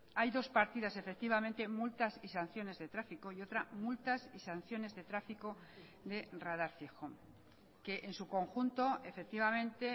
hay dos partidas efectivamente multas y sanciones de tráfico y otra multas y sanciones de tráfico de radar fijo que en su conjunto efectivamente